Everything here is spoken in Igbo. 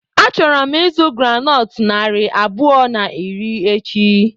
Achọrọ m ịzụ groundnut narị abụọ na iri echi.